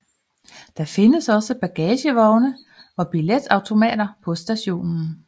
Der findes også bagagevogne og billetautomater på stationen